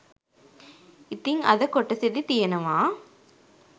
ඉතිං අද කොටසෙදි තියෙනවා